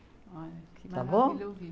Olha, que maravilha ouvir.